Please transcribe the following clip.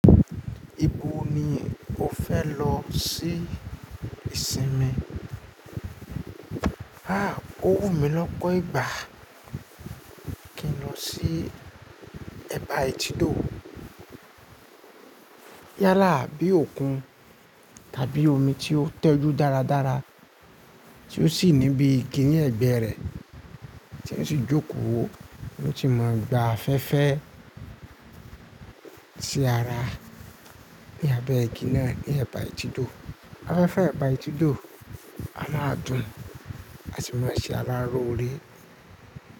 Ibo ni o fẹ lọ sí ìsinmi? Owu mi lọ́pọ̀ ìgbà kí n lọ sí ẹ̀báÌtídó. Yálà bí òkun tàbí omi tí ó tẹjú dáradára, tí ó sì ní bí kini ní ẹ̀gbẹ́ rẹ tí ó sì jókòó, ó sì mọ gba afẹ́fẹ́ sí ara ní abẹ́ igi náà ní ẹ̀báÌtídó. Afẹ́fẹ́ ẹ̀báÌtídó á máa dùn àti máa ṣe aráró lore.